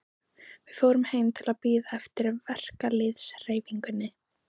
Við fórum heim til að bíða eftir verkalýðshreyfingunni.